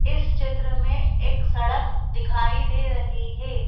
इस चित्र में एक सड़क दिखाई दे रही है।